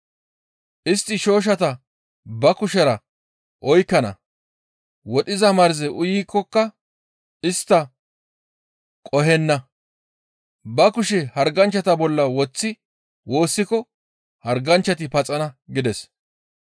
Istti shooshshata ba kushera oykkana; wodhiza marze uyikkoka istta qohenna. Ba kushe harganchchata bolla woththi woossiko harganchchati paxana» gides.